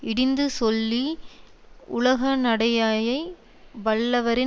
இடிந்துச் சொல்லி உலகநடையயை வல்லவரின்